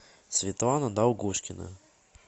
светлана долгушкина